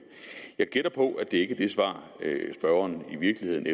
jeg gætter på at det ikke er det svar spørgeren i virkeligheden